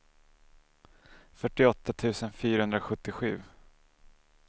fyrtioåtta tusen fyrahundrasjuttiosju